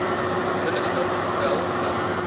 binnestap wel dan